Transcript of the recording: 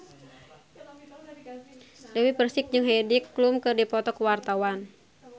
Dewi Persik jeung Heidi Klum keur dipoto ku wartawan